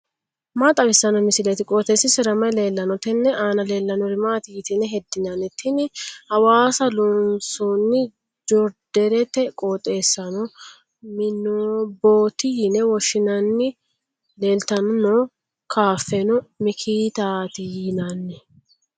maa xawissanno misileeti? qooxeessisera may leellanno? tenne aana leellannori maati yitine heddinanni? tini hawaasa loonsoonni joriidereeti qooxeessano mwmbooti yine woshshinanni leeltanni noo kaafeno mikitaati yinanni.